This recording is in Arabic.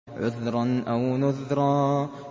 عُذْرًا أَوْ نُذْرًا